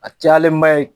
A cayalen ba ye